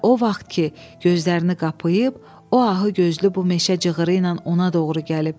Və o vaxt ki, gözlərini qapayıb, o ahıgözlü bu meşə cığırı ilə ona doğru gəlib